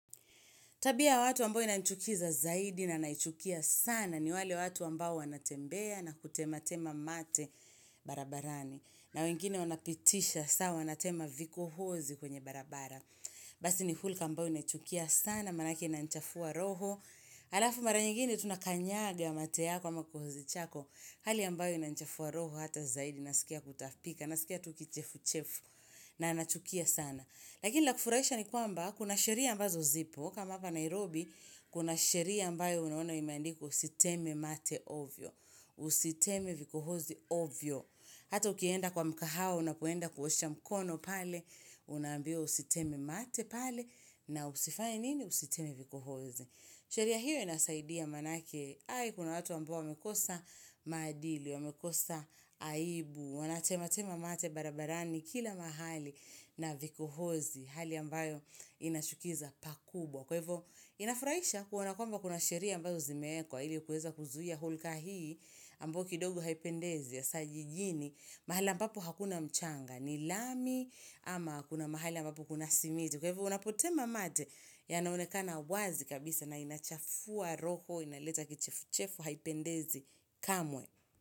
Tabia ya watu ambayo inanichukiza zaidi na naichukia sana ni wale watu ambao wanatembea na kutematema mate barabarani. Na wengine wanapitisha saa wanatema vikohozi kwenye barabara. Basi ni hulka ambayo naichukia sana manake inanichafua roho Alafu mara nyingine tunakanyaga mate yako ama kohozi chako Hali ambayo inanichafua roho hata zaidi nasikia kutapika, nasikia tu kichefuchefu na nachukia sana Lakini la kufurahisha ni kwamba kuna sheria ambazo zipo, kama hapa Nairobi, kuna sheria ambayo unaona imeandikwa usiteme mate ovyo, usiteme vikohozi ovyo. Hata ukienda kwa mkahawa, unapoenda kuosha mkono pale, unambiwa usiteme mate pale, na usifaye nini usiteme vikohozi. Sheria hiyo inasaidia manake, kuna watu ambao wamekosa maadili, wamekosa aibu, wanatematema mate barabarani kila mahali na vikohozi, hali ambayo inachukiza pakubwa. Kwa hivo, inafurahisha kuona kwamba kuna sheria ambazo zimeekwa ili kueza kuzuhia hulka hii ambayo kidogo haipendezi hasa jijini, mahali ambapo hakuna mchanga, ni lami ama kuna mahali ambapo kuna simiti. Kwa hivo, unapotema mate yanaonekana wazi kabisa na inachafua roko, inaleta kichefuchefu haipendezi kamwe.